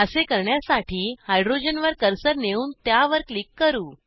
असे करण्यासाठी हायड्रोजन वर कर्सर नेऊन त्यावर क्लिक करू